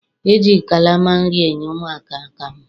E ji kalama nri enye ụmụaka akamụ.